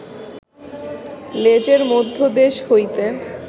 লেজের মধ্যদেশ হইতে